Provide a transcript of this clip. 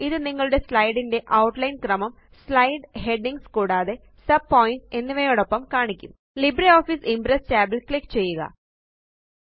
ഇത് നിങ്ങളുടെ സ്ലൈഡ്സ് ന്റെ ഔട്ട്ലൈന് ക്രമം സ്ലൈഡ് ഹെഡിംഗ്സ് കൂടാതെ sub പോയിന്റ്സ് എന്നിവയോടൊപ്പം കാണിക്കും ലിബ്രിയോഫീസ് ഇംപ്രസ് tab ല് ക്ലിക്ക് ചെയ്യുക